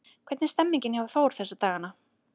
Hvernig er stemningin hjá Þór þessa dagana?